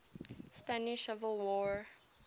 spanish civil war